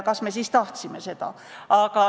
Kas me seda tahtsime?